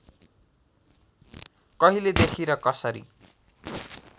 कहिलेदेखि र कसरी